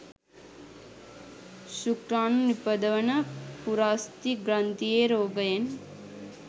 ශුක්‍රාණු නිපදවන පුරස්ථි ග්‍රන්ථියේ රෝගයෙන්